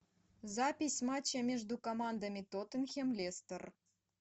запись матча между командами тоттенхэм лестер